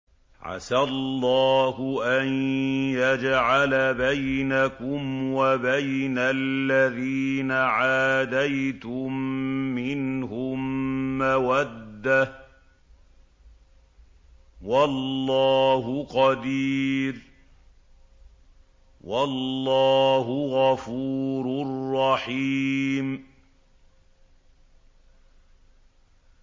۞ عَسَى اللَّهُ أَن يَجْعَلَ بَيْنَكُمْ وَبَيْنَ الَّذِينَ عَادَيْتُم مِّنْهُم مَّوَدَّةً ۚ وَاللَّهُ قَدِيرٌ ۚ وَاللَّهُ غَفُورٌ رَّحِيمٌ